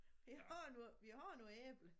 Vi har nogle vi har nogle æbler